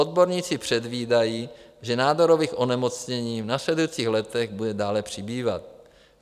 Odborníci předvídají, že nádorových onemocnění v následujících letech bude dále přibývat.